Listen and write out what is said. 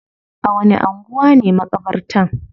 A wani anguwa ne makabartan?